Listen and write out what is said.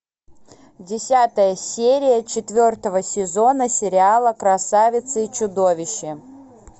десятая серия четвертого сезона сериала красавица и чудовище